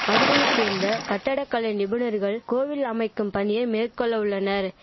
மதுரையைச்சேர்ந்த கட்டட கலை நிபுணர்கள் கோவில் அமைக்கும் பணியை மேற்கொள்ளவுள்ளனர்